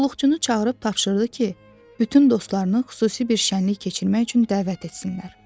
Qulluqçunu çağırıb tapşırdı ki, bütün dostlarını xüsusi bir şənlik keçirmək üçün dəvət etsinlər.